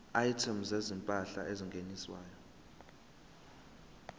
items zezimpahla ezingeniswayo